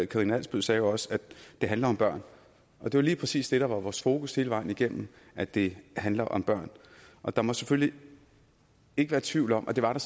karina adsbøl sagde jo også det handler om børn og det var lige præcis det der var vores fokus hele vejen igennem at det handler om børn og der må selvfølgelig ikke være tvivl om og det var der